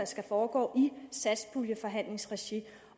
skal foregå i satspuljeforhandlingsregi